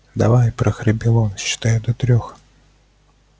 давай прохрипел он считаю до трёх